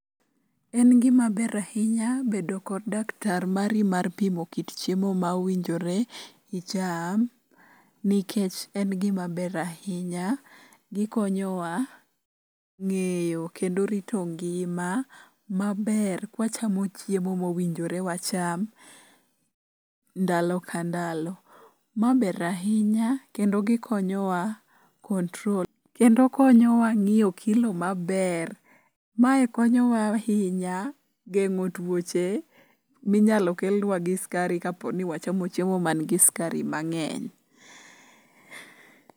En gimaber ahinya bedo kod daktar mari mar pimo kit chiemo ma owinjore icham, nikech en gimaber ahinya gikonyowa ng'eyo kendo rito ngima maber kwachamo chiemo mowinjore wacham ndalo ka ndalo. Ma ber ahinya kendo konyowa ng'iyo kilo maber. Mae konyowa ahinya geng'o tuoche minyalo kelnwa gi skari kapo ni wachamo chiemo mangi skari mang'eny.